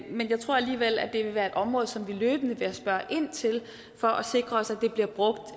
men jeg tror alligevel at det vil være et område som vi løbende vil spørge ind til for at sikre os